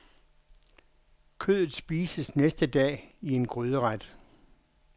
Kødet spises næste dag i en gryderet.